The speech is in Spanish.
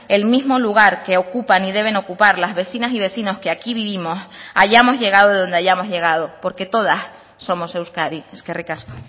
el mismo lugar que ocupan y deben ocupar las vecinas y vecinos que aquí vivimos hayamos llegado de donde hayamos llegado porque todas somos euskadi eskerrik asko